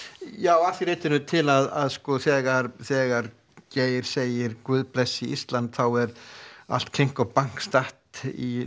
já að því leytinu til að þegar þegar Geir segir Guð blessi Ísland þá var allt klink og Bank statt í